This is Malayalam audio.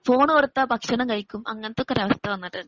ഫോണ് കൊടുത്താൽ ഭക്ഷണം കഴിക്കും അങ്ങനത്തൊക്കെ ഒരാവസ്ഥവന്നിട്ടുണ്ട്.